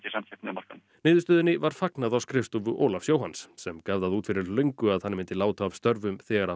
samkeppni á markaðnum niðurstöðunni var fagnað á skrifstofu Ólafs Jóhanns sem gaf það út fyrir löngu að hann myndi láta af störfum þegar af